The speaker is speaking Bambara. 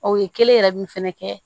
O ye kelen yɛrɛ min fɛnɛ kɛ